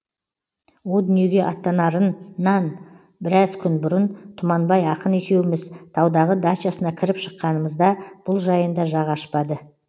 о дүниеге аттанарынан біраз күн бұрын тұманбай ақын екеуміз таудағы дачасына кіріп шыққанымызда бұл жайында жақ ашпады